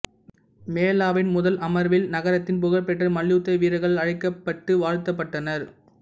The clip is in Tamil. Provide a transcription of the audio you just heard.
மேளாவின் முதல் அமர்வில் நகரத்தின் புகழ்பெற்ற மல்யுத்த வீரர்கள் அழைக்கப்பட்டு வாழ்த்தப்பட்டனர்